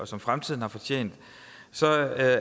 som fremtiden har fortjent